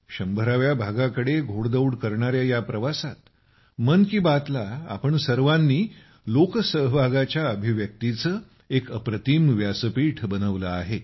100 व्या भागाकडे वाटचाल करणाऱ्या या प्रवासात मन की बात ला तुम्ही सर्वांनी लोकसहभागाच्या अभिव्यक्तीचे एक अप्रतिम व्यासपीठ बनविले आहे